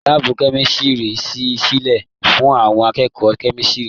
Láàbù kẹ̀misiri sí sílẹ fún àwọn akẹ́kọ̀ọ́ kẹ̀misiri.